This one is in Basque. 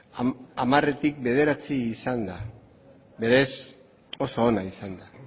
hamartik bederatzi izan da berez oso ona izan da